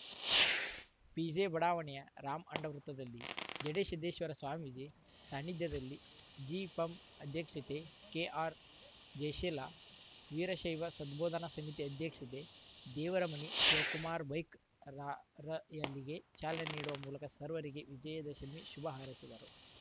ಪಿಜೆಬಡಾವಣೆಯ Ram and ವೃತ್ತದಲ್ಲಿ ಜಡೇ ಸಿದ್ದೇಶ್ವರ ಸ್ವಾಮೀಜಿ ಸಾನ್ನಿಧ್ಯದಲ್ಲಿ ಜಿಪಂ ಅಧ್ಯಕ್ಷೆತೆ ಕೆಆರ್‌ಜಯಶೀಲ ವೀರಶೈವ ಸದ್ಬೋಧನಾ ಸಮಿತಿ ಅಧ್ಯಕ್ಷತೆ ದೇವರಮನಿ ಶಿವಕುಮಾರ ಬೈಕ್‌ ರಾರ‍ಯಲಿಗೆ ಚಾಲನೆ ನೀಡುವ ಮೂಲಕ ಸರ್ವರಿಗೂ ವಿಜಯ ದಶಮಿ ಶುಭ ಹಾರೈಸಿದರು